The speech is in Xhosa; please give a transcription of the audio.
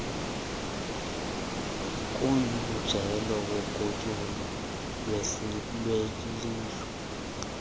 kumjelo wogutyulo lwelindle